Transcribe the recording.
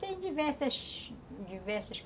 Tem diversas, diversas